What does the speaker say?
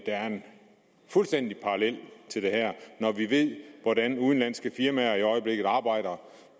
er en fuldstændig parallel til det her når vi ved hvordan udenlandske firmaer i øjeblikket arbejder